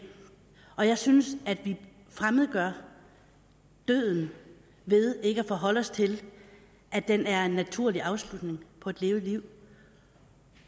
og jeg synes at vi fremmedgør døden ved ikke at forholde os til at den er en naturlig afslutning på et levet liv